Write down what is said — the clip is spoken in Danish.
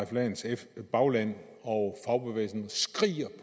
jensens bagland og fagbevægelsen skriger